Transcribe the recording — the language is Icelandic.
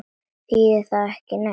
Þýðir það ekki neitt?